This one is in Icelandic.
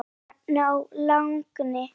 Píanó þagni!